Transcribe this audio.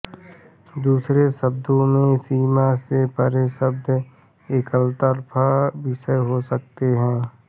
दूसरे शब्दों में सीमा से परे शब्द एकतरफ़ा विषम हो सकते हैं